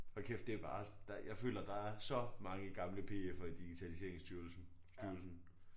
Hold kæft det bare jeg føler der er så mange gamle PF'er i digitaliseringsstyrelsen styrelsen